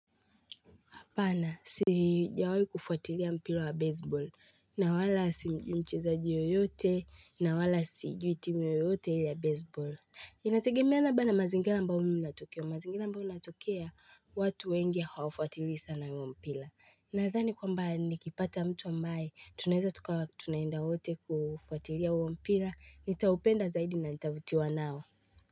Bana sijawai kufuatilia mpira wa baseball. Na wala simjui mchezaji yoyote, na wala sijui timu yoyote ya baseball. Inategemeana na mazingira ambayo mi natokea. Mazingira ambayo mi natokea, watu wengi hawafuatilii sana huo mpira. Nathani kwamba nikipata mtu ambaye, tunaeza tukawa tunaenda wote kufuatilia huo mpira. Nitaupenda zaidi na nitavutiwa nao.